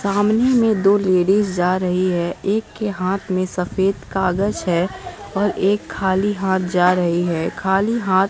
सामने में दो लेडिज जा रही है एक के हाथ में सफेद कागज है और एक खाली हाथ जा रही है खाली हाथ --